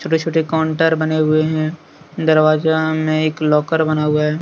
छोटे छोटे काउंटर बने हुए हैं दरवाजा में एक लॉकर बना हुआ है।